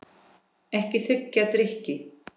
Ekki þiggja drykki.